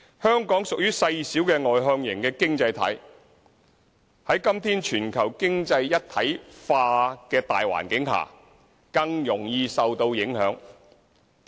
香港屬於細小外向型的經濟體，在今天全球經濟一體化的大環境下，更容易受到影響。